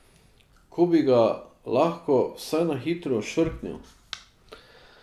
Ko bi ga lahko vsaj na hitro ošvrknil!